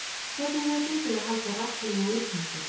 Hvernig hefur gengið að halda raddlegu úthaldi?